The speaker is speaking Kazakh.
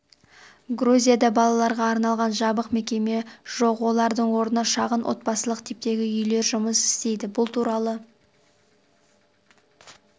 грузияда балаларға арналған жабық мекеме жоқ олардың орнына шағын отбасылық типтегі үйлер жұмыс істейді бұл туралы